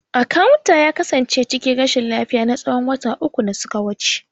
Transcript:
Akawun ya kasance cikin rashin lafiya na tsawon wata uku da suka wuce.